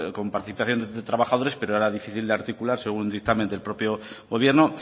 con participación de trabajadores pero era difícil de articular según dictamen del propio gobierno